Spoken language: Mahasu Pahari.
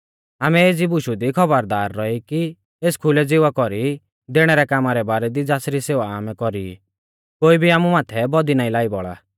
आमै एज़ी बुशु दी खौबरदार रौई ई कि एस खुलै ज़िवा कौरी दैणै रै कामा रै बारै दी ज़ासरी सेवा आमै कौरी ई कोई भी आमु माथै बौदी ना लाई बौल़ा